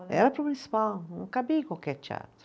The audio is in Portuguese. Era para o municipal, não cabia em qualquer teatro.